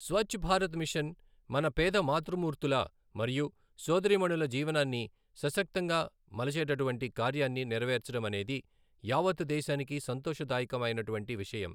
Swachh Bharat mission మన పేద మాతృమూర్తుల మరియు సోదరీమణుల జీవనాన్ని సశక్తంగా మలచేటటువంటి కార్యాన్ని నెరవేర్చడం అనేది యావత్తు దేశానికి సంతోషదాయకం అయినటువంటి విషయం.